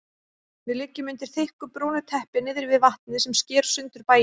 Við liggjum undir þykku brúnu teppi niðri við vatnið sem sker sundur bæinn.